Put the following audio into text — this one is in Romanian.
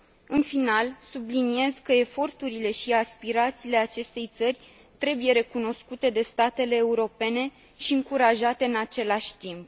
În final, subliniez că eforturile și aspirațiile acestei țări trebuie recunoscute de statele europene și încurajate în același timp.